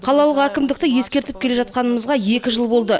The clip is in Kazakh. қалалық әікмдікті ескертіп келе жатқанымызға екі жыл болды